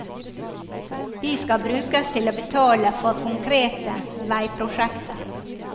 De skal brukes til å betale for konkrete veiprosjekter.